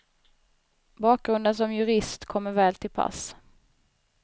Bakgrunden som jurist kommer väl till pass.